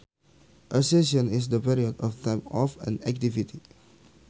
A session is the period of time of an activity